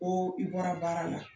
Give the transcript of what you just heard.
Ko i bɔra baara la.